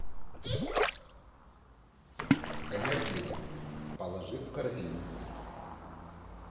энергетик положи в корзину